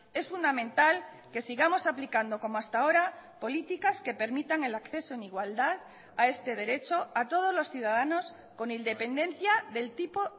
es fundamental que sigamos aplicando como hasta ahora políticas que permitan el acceso en igualdad a este derecho a todos los ciudadanos con independencia del tipo